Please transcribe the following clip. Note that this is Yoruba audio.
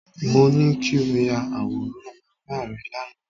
Mo ní kí o ya àwòrán bàbá rẹ lánàá